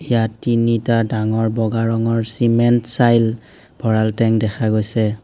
ইয়াত তিনিটা ডাঙৰ বগা ৰঙৰ চিমেণ্ট চাইল ভঁৰাল টেংক দেখা গৈছে।